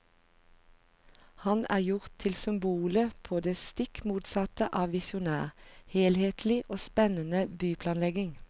Han er gjort til symbolet på det stikk motsatte av visjonær, helhetlig og spennende byplanlegging.